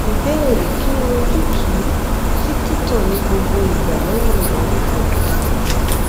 ìbéèrè kí ni ojútùú sí tito nigbogbo igba lẹyìn ìbálòpọ